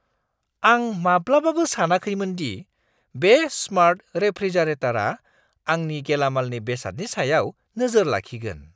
आं माब्लाबाबो सानाखैमोन दि बे स्मार्ट रेफ्रिजारेटारआ आंनि गेलामालनि बेसादनि सायाव नोजोर लाखिगोन।